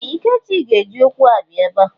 Ee! Ikechi ji ụkwụ abịa ebe a.